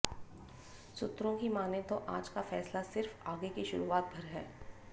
सूत्रों की मानें तो आज का फैसला सिर्फ आगे की शुरुआत भर है